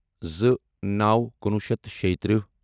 زٕ نَو کُنوُہ شیٚتھ تہٕ شیٚیہِ تٕرہہ